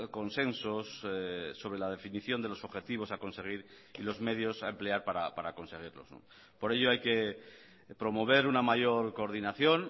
consensos sobre la definición de los objetivos a conseguir y los medios a emplear para conseguirlos por ello hay que promover una mayor coordinación